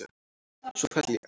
Svo féll ég.